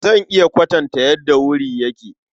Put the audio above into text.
Zan iya kwatanta yadda wuri yake.